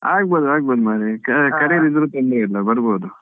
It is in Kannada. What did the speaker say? ಆಗಬೋದು ಆಗಬೋದು ಮಾರೆ ಕರಿಯದಿದ್ರು ತೊಂದ್ರೆ ಇಲ್ಲಾ ಬರ್ಬೋದು.